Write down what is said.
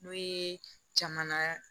N'o ye jamana